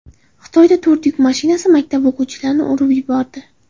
Xitoyada yuk mashinasi maktab o‘quvchilarni urib yubordi.